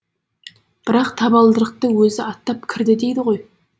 бірақ табалдырықты өзі аттап кірді дейді ғой